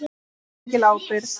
Því fylgir mikil ábyrgð.